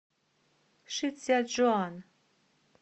шицзячжуан